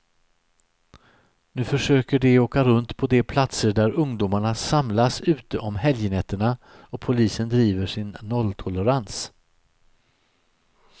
Nu försöker de åka runt på de platser där ungdomarna samlas ute om helgnätterna, och polisen driver sin nolltolerans.